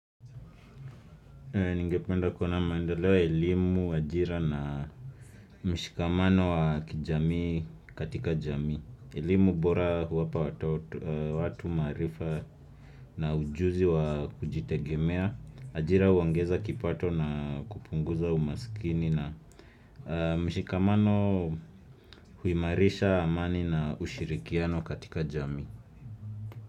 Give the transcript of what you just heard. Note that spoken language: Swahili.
Ningependa kuona maendeleo ya elimu, ajira na mshikamano wa kijamii katika jamii. Elimu bora huwapa watu maarifa na ujuzi wa kujitegemea. Ajira huongeza kipato na kupunguza umaskini na mshikamano huimarisha amani na ushirikiano katika jamii.